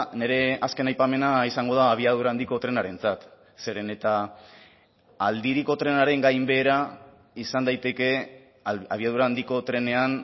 nire azken aipamena izango da abiadura handiko trenarentzat zeren eta aldiriko trenaren gainbehera izan daiteke abiadura handiko trenean